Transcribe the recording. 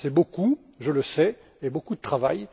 C'est beaucoup, je le sais, et il y a beaucoup de travail.